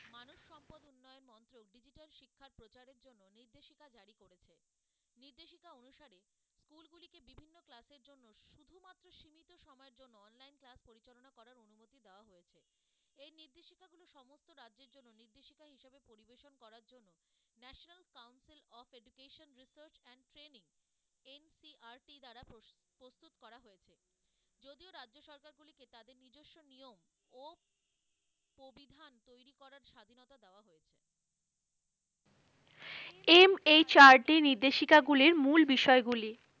MHRT নির্দেশিকা গুলির মূল বিষয় গুলি,